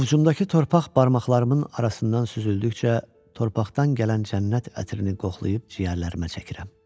Ovcumdakı torpaq barmaqlarımın arasından süzüldükcə torpaqdan gələn cənnət ətrini qoxlayıb ciyərlərimə çəkirəm.